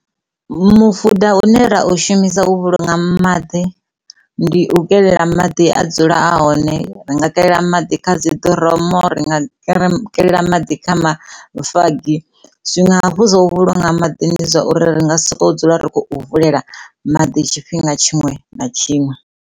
Mufuda une ra u shumi u vhulunga maḓi ndi u kelela maḓi a dzula a hone ri nga kelela maḓi kha dziḓiromu ri nga kelea maḓi kha mafagi, zwiṅwe hafhu zwa u vhulunga maḓi ndi zwa uri ri nga si sokou dzula ri khou vulela maḓi tshifhinga tshiṅwe na tshiṅwe.